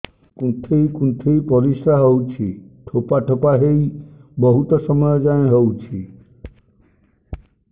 କୁନ୍ଥେଇ କୁନ୍ଥେଇ ପରିଶ୍ରା ହଉଛି ଠୋପା ଠୋପା ହେଇ ବହୁତ ସମୟ ଯାଏ ହଉଛି